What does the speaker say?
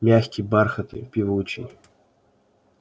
мягкий бархатный певучий